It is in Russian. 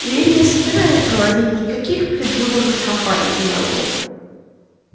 но я не собираюсь проводить никаких предвыборных кампаний мэллоу